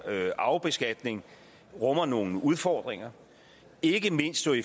arvebeskatning rummer nogle udfordringer ikke mindst